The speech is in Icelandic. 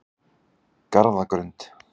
Garðagrund